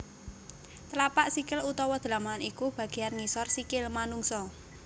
Tlapak sikil utawa dlamakan iku bagéan ngisor sikil manungsa